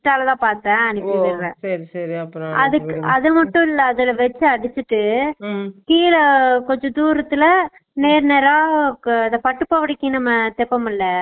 insta லதான் பாத்தேன் அது மட்டும் இல்ல அதுல web அடுச்சிட்டு கீழ கொஞ்ச தூரத்துல நேர் நேர்ரா இந்த பட்டு போடவைக்கு நம்ம தேப்போம்ல